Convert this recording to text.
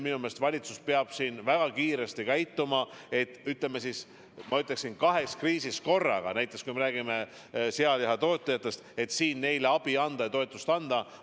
Minu meelest valitsus peab nüüd väga kiiresti tegutsema, et kahes kriisis korraga sealihatootjatele abi anda ja neid toetada.